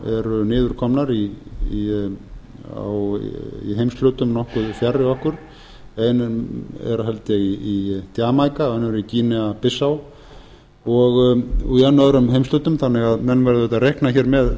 en súrálsnámurnar eru niðurkomnar í heimshlutum nokkuð fjarri okkur ein er held ég í jamaíka önnur í eina bissá og í enn öðrum heimshlutum þannig að menn verða auðvitað að